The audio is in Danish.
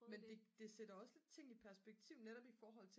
men det sætter også lidt tingene i perspektiv netop i forhold